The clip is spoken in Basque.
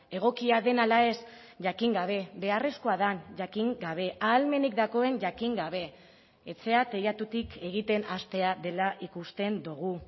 egokia den ala ez jakin gabe beharrezkoa den jakin gabe ahalmenik dagoen jakin gabe etxea teilatutik egiten hastea dela ikusten dugu